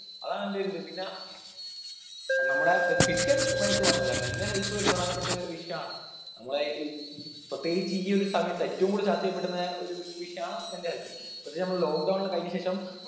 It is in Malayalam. അതാണെന്റെ ഒരിത് പിന്ന നമ്മടെ അഹ് physical health മാത്രമല്ല mental health ഉ ഒരു പ്രധാനപ്പെട്ട വിഷയാണ് നമ്മളെ ഈ പ്രത്യേകിച്ച് ഈ ഒരു സമയത്ത് ഏറ്റവും കൂടുതൽ ചർച്ച ചെയ്യപ്പെടുന്ന ഒരു വിഷയമാണ് mental health പ്രത്യേകിച്ച് നമ്മള് lock down ല് കഴിഞ്ഞ ശേഷം